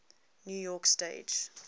new york stage